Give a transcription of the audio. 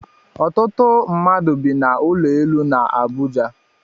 Ọtụtụ mmadụ bi na ụlọ elu na Abuja